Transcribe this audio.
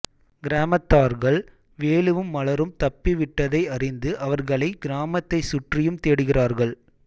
கிராமத்தார்கள் வேலுவும் மலரும் தப்பிவிட்டதை அறிந்து அவர்களை கிராமத்தைச் சுற்றியும் தேடுகிறார்கள்